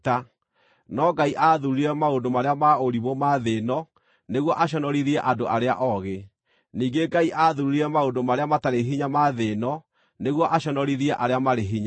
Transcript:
No Ngai aathuurire maũndũ marĩa ma ũrimũ ma thĩ ĩno nĩguo aconorithie andũ arĩa oogĩ; ningĩ Ngai aathuurire maũndũ marĩa matarĩ hinya ma thĩ ĩno nĩguo aconorithie arĩa marĩ hinya.